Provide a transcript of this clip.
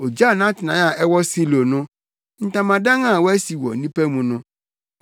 Ogyaw nʼatenae a ɛwɔ Silo no, ntamadan a wasi wɔ nnipa mu no.